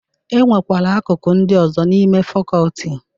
E nwekwara akụkụ ndị ọzọ n'ime fakọọti.